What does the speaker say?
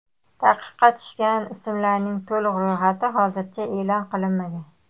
Taqiqqa tushgan ismlarning to‘liq ro‘yxati hozircha e’lon qilinmagan.